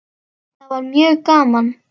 Það var mjög gaman.